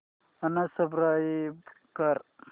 unsubscribe कर